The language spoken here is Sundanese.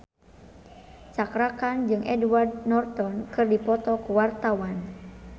Cakra Khan jeung Edward Norton keur dipoto ku wartawan